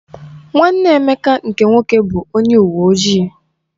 Nwanne Emeka nke nwoke bụ onye uwe ojii.